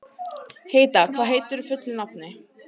Heida, hvað heitir þú fullu nafni?